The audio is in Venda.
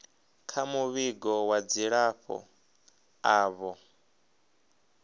kha muvhigo wa dzilafho avho